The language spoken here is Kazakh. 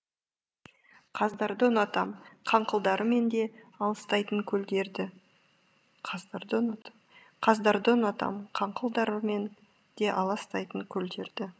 қаздарды ұнатам қаңқылдарымен де алыстайтын көлдерді қаздарды ұнатам қаңқылдарымен де аластайтын көлдерді